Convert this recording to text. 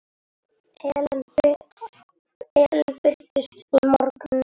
Ellin birtist í mörgum myndum.